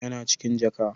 Yana cikin jaka.